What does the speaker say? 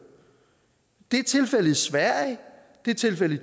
det er tilfældet i sverige det er tilfældet i